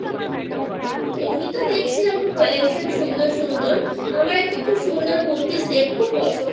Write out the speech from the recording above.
এমনিতেও দেখছিলাম খুব Collection সুন্দর সুন্দর আমার একটা খুব সুন্দর কুর্তির Set